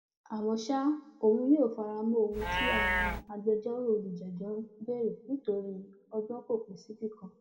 àmọ ṣá òun yóò fara mọ ohun tí àwọn agbẹjọrò olùjẹjọ ń béèrè nítorí ọgbọn kò pín síbì kan